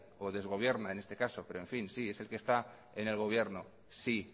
o desgobierna en este caso sí es el que está en el gobierno sí